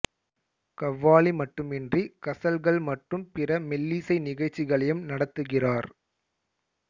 கவ்வாலி மட்டுமின்றி கசல்கள் மற்றும் பிற மெல்லிசை நிகழ்ச்சிகளையும் நடத்துகிறார்